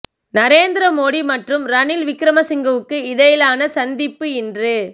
நரேந்திர மோடி மற்றும் ரணில் விக்ரமசிங்கவுக்கு இடையிலான சந்திப்பு இன்று